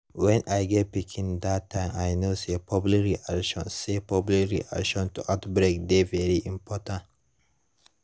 when i get pikinna that time i know say public reaction say public reaction to outbreak dey very important